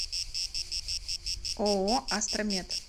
ооо астра мед